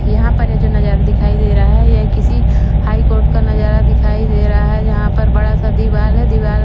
यहा पर ये जो नजारा दिखाई देरा है यह किसी हाई कोर्ट का नजारा दिखाई देरा है जहा पर बड़ा सा दीवार है दीवार--